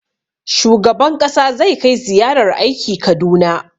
Shugaban ƙasa zai kai ziyarar aiki Kaduna.